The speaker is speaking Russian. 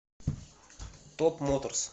топ моторс